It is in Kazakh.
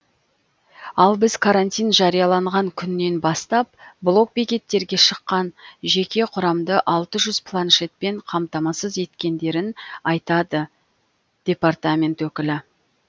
ал біз карантин жарияланған күннен бастап блок бекеттерге шыққан жеке құрамды алты жүз планшетпен қамтамасыз етткендерін айтады департамент өкілі